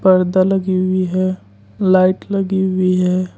पर्दा लगी हुई है लाइट लगी हुई है।